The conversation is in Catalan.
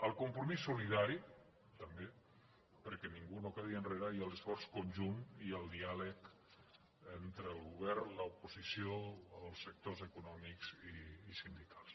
al compromís solidari també perquè ningú no quedi enrere i a l’esforç conjunt i al diàleg entre el govern l’oposició els sectors econòmics i sindicals